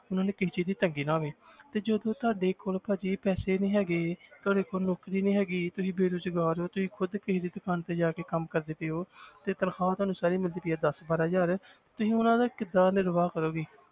ਉਹਨਾਂ ਨੂੰ ਕਿਸੇ ਚੀਜ਼ ਦੀ ਤੰਗੀ ਨਾ ਹੋਵੇ ਤੇ ਜਦੋਂ ਤੁਹਾਡੇ ਕੋਲ ਭਾਜੀ ਪੈਸੇ ਨੀ ਹੈਗੇ ਤੁਹਾਡੇ ਕੋਲ ਨੌਕਰੀ ਨੀ ਹੈਗੀ ਤੁਸੀਂ ਬੇਰੁਜ਼ਗਾਰ ਹੋ ਤੁਸੀਂ ਖੁੱਦ ਕਿਸੇ ਦੀ ਦੁਕਾਨ ਤੇ ਜਾ ਕੇ ਕੰਮ ਕਰਦੇ ਪਏ ਹੋ ਤੇ ਤਨਖ਼ਾਹ ਤੁਹਾਨੂੰ ਸਾਰੀ ਮਿਲਦੀ ਪਈ ਹੈ ਦਸ ਬਾਰਾਂ ਹਜ਼ਾਰ ਤੁਸੀਂ ਉਹਨਾਂ ਦਾ ਕਿੱਦਾਂ ਨਿਰਵਾਹ ਕਰੋਗੇ।